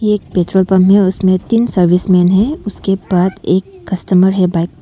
एक petrol pump है उसमें तीन सर्विसमैन है उसके पास एक कस्टमर है।